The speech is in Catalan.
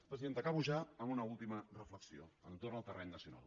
presidenta acabo ja amb una última reflexió a l’entorn del terreny nacional